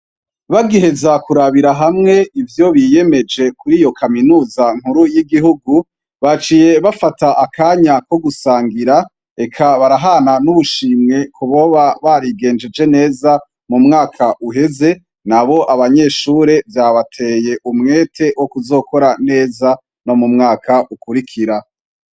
Bagiheza karabira hamwe ivyo biyemeje kuri yo kaminuza nkuru y'igihungu baciye bafata akanya ko gusangira eka barahana n'ubushimwe kuboba barigejeje neza mu mwaka uheze, nabo abanyeshure vyabateye umwete wo kuzakora neza mu mwaka ukwirikira.